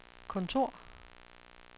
kontor